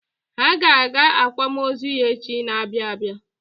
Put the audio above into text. Ha ga-aga akwamozu ya echi na-abịa abịa.